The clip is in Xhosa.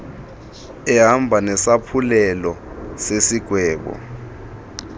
ehamba nesaphulelo sesigwebo